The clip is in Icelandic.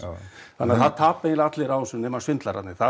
þannig að það tapa eiginlega allir á þessu nema svindlararnir það